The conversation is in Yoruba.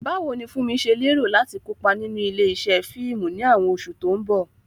Báwo ni Funmi ṣe lérò láti kópa nínú ilé-iṣẹ́ fíìmù ní àwọn oṣù tó ń bọ̀?